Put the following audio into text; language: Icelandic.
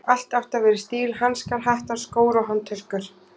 Allt átti að vera í stíl: hanskar, hattar, skór og handtöskur.